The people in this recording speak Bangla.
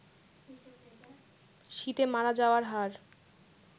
শীতে মারা যাওয়ার হার